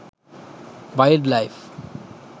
wild life